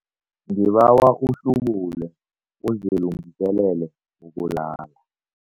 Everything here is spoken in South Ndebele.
Ngibawa uhlubule uzilungiselele ukulala.